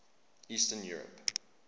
eastern europe